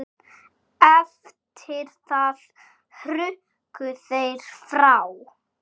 Eftir það hrukku þeir frá.